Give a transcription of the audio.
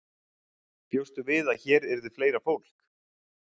Bjóstu við að hér yrði fleira fólk?